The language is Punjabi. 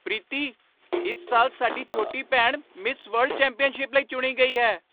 ਪ੍ਰੀਤੀ! ਇਸ ਸਾਲ ਸਾਡੀ ਛੋਟੀ ਭੈਣ ਮਿਸ ਵਰਲਡ ਚੈਂਪੀਅਨਸ਼ਿਪ ਲਈ ਚੁਣੀ ਗਈ ਹੈ!